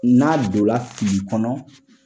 N'a donra fili kɔnɔ